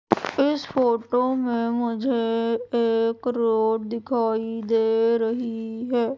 इस फोटो में मुझे एक रोड दिखाई दे रही है।